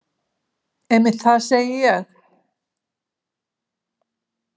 Einmitt það, segi ég.